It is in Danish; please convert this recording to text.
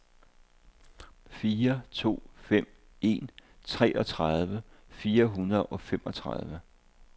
fire to fem en treogtredive fire hundrede og femogtredive